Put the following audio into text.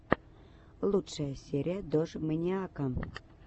лучшая серия дожмэниака